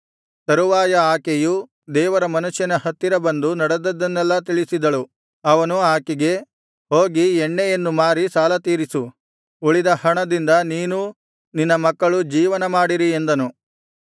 ತರುವಾಯ ಆಕೆಯು ದೇವರ ಮನುಷ್ಯನ ಹತ್ತಿರ ಬಂದು ನಡೆದದ್ದನ್ನೆಲ್ಲಾ ತಿಳಿಸಿದಳು ಅವನು ಆಕೆಗೆ ಹೋಗಿ ಎಣ್ಣೆಯನ್ನು ಮಾರಿ ಸಾಲತೀರಿಸು ಉಳಿದ ಹಣದಿಂದ ನೀನೂ ನಿನ್ನ ಮಕ್ಕಳು ಜೀವನಮಾಡಿರಿ ಎಂದನು